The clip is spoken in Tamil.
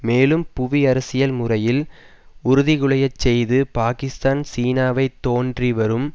மேலும் புவிஅரசியல் முறையில் உறுதிகுலையச்செய்து பாக்கிஸ்தான் சீனாவை தோன்றி வரும்